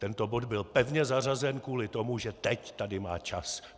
Tento bod byl pevně zařazen kvůli tomu, že teď tady má čas.